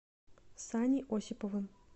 саней осиповым